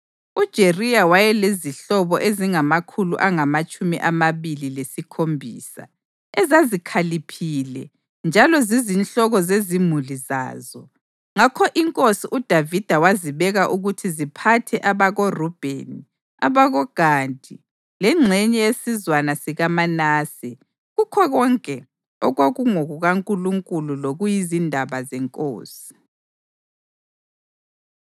UJeriya wayelezihlobo ezingamakhulu angamatshumi amabili lesikhombisa, ezazikhaliphile njalo zizinhloko zezimuli zazo, ngakho inkosi uDavida wazibeka ukuthi ziphathe abakoRubheni, abakoGadi lengxenye yesizwana sikaManase kukho konke okwakungokukaNkulunkulu lokuyizindaba zenkosi.